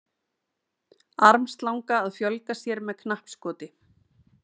Armslanga að fjölga sér með knappskoti.